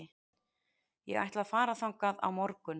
Ég ætla að fara þangað á morgun.